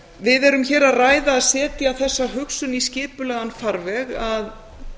við erum hér að ræða að setja þessa hugsun í skipulegan farveg að